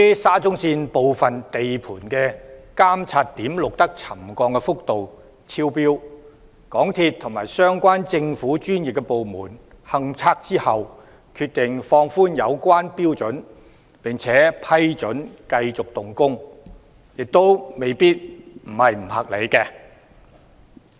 沙中線部分地盤的監測點錄得沉降幅度超標，經港鐵公司及政府的相關專業部門進行勘測後，當局決定放寬有關標準並批准繼續動工，亦未必是不合理。